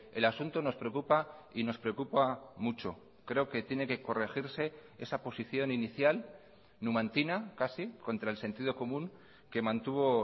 el asunto nos preocupa y nos preocupa mucho creo que tiene que corregirse esa posición inicial numantina casi contra el sentido común que mantuvo